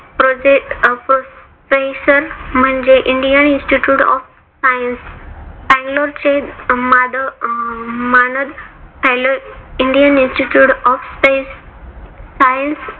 proffesor म्हणजे indian institute of science बँगलोरचे माधव मानद indian institute of space science